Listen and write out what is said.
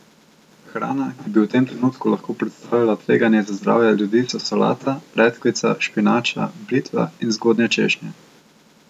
Hrana, ki bi v tem trenutku lahko predstavljala tveganje za zdravje ljudi so solata, redkvica, špinača, blitva in zgodnje češnje.